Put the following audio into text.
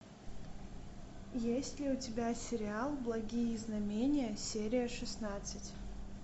есть ли у тебя сериал благие знамения серия шестнадцать